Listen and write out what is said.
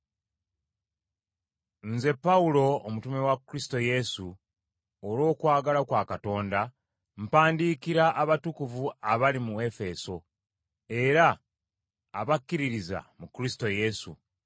Nze Pawulo, omutume wa Kristo Yesu, olw’okwagala kwa Katonda, mpandiikira abatukuvu abali mu Efeso, era abakkiririza mu Kristo Yesu.